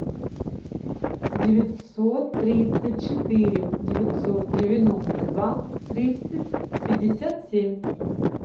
девятьсот тридцать четыре девятьсот девяносто два тридцать пятьдесят семь